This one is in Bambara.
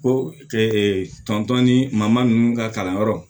Ko tɔn ni maman ninnu ka kalanyɔrɔ